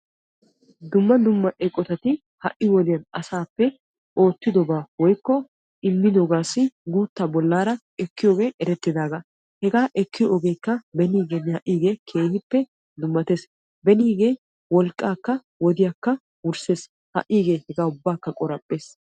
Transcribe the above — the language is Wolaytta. Dumma dumma eqotati ha'i wodiyaan asappe oottidobaa woykko immidobassi guuttaa bollaara ekkiyoogee erettidagaa. hegaa ekkiyoo ogeekka benigeenne ha'iigee keehippe dumattees. benigee wolqqaakka wodiyaakka wursses ha'igee ubbaakka qoraphphees.